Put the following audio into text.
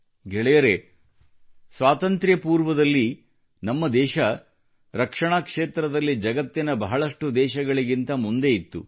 ಗೆಳೆಯರೇ ಸ್ವಾತಂತ್ರ್ಯಪೂರ್ವದಲ್ಲಿ ನಮ್ಮ ದೇಶವು ರಕ್ಷಣಾ ಕ್ಷೇತ್ರದಲ್ಲಿ ಜಗತ್ತಿನ ಬಹಳಷ್ಟು ದೇಶಗಳಿಗಿಂತ ಮುಂದೆ ಇತ್ತು